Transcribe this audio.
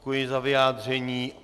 Děkuji za vyjádření.